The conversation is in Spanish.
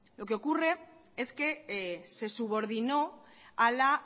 lo que ocurre es que se subordinó a la